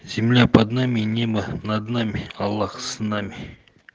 земля под нами небо над нами аллах с нами